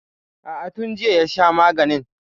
A'a, tun jiya ya sha maganin.